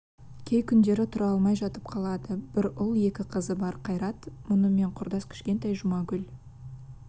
кей күндері тұра алмай жатып қалады бір ұл екі қызы бар қайрат мұнымен құрдас кішкентай жұмагүл